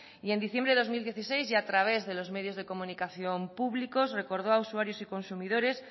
y en diciembre de dos mil dieciséis y a través de los medios de comunicación públicos recordó a usuarios y consumidores